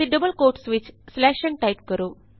ਅਤੇ double quotes ਵਿਚ ਨ ਟਾਈਪ ਕਰੋ